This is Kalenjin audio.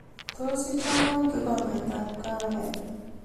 Tos ichobwo kikombetab kahawek